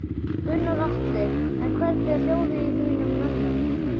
Gunnar Atli: En hvernig er hljóðið í þínum mönnum?